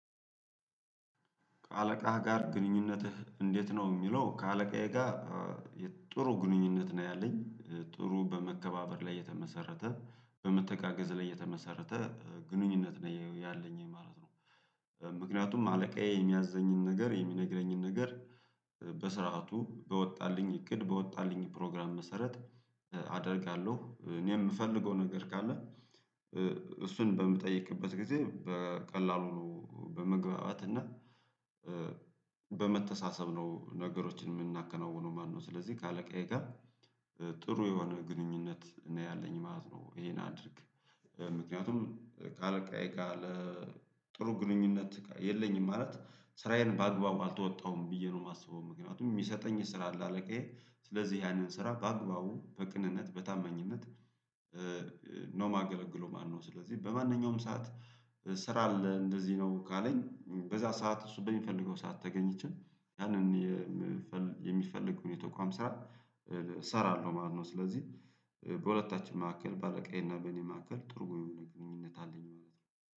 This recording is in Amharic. ከአለቃህ ጋር ግንኙነትህ እንዴት ነው የሚለው? ከአለቃዬ ጋር ጥሩ ግንኙነት ነው ያለኝ ጥሩ በመከባበር ላይ የተመሰረተ በመተጋገዝ ላይ የተመሰረተ ግንኙነት ነው ያለኝ ማለት ነው። ምክንያቱም አለቃዬ የሚያዘኝን ነገር የሚነግረኝን ነገር በስርዓቱ በወጣልኝ እቅድ በወጣልኝ ፕሮግራም መሰረት። አደርጋለሁ እኔ የምፈልገው ነገር ካለ። እሱን በምጠይቅበት ጊዜ በቀላሉ ነው በመግባባት እና። በመተሳሰብ ነው ነገሮችን የምናከናውነው ማለትነው። ስለዚህ ከአለቃዬ ጋር ጥሩ የሆነ ግንኙነት ነው ያለኝ ማለት ነው። ይሄን አድርግ ምክንያቱም ካለቃዬ ጋር ጥሩ ግንኙነት የለኝም ማለት ስራዬን በአግባቡ አልተወጣሁም ብዬ ነው የማስበው። ምክንያቱም የሚሰጠኝ ስራ አለ አለቃዬ ስለዚህ ያንን ስራ በአግባቡ በቅንነት በታመኝነት ነው ማገለግለው ማለትነው። ስለዚህ በማንኛውም ሰዓት ስራ አለ እንደዚህ ነው ካለኝ በዛ ሰዓት እሱ በሚፈልገው ሰዓት ተገኝቼ ያንን የሚፈልግ የተቋም ስራ እሰራለሁ ማለት ነው። ስለዚህ በሁለታችን መካከል ባለቀዬና በእኔ መካከል ጥሩ ግንኙነት አለኝ ማለት ነው።